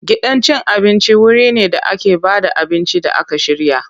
Gidan cin abinci wuri ne da ake ba da abinci da aka shirya.